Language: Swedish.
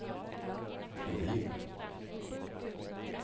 Nordin